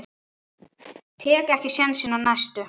Tek ekki sénsinn á næstu.